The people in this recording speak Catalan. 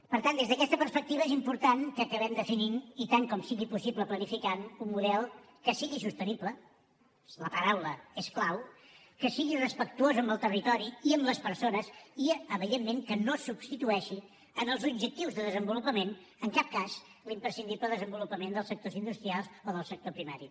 per tant des d’aquesta perspectiva és important que acabem definint i tant com sigui possible planificant un model que sigui sostenible la paraula és clau que sigui respectuós amb el territori i amb les persones i evidentment que no substitueixi en els objectius de desenvolupament en cap cas l’imprescindible desenvolupament dels sectors industrials o del sector primari